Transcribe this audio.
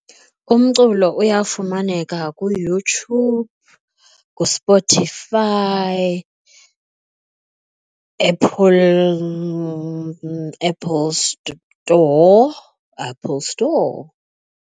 Umculo uyafumaneka kuYouTube, kuSpotify, Apple Apple Store, Apple Store.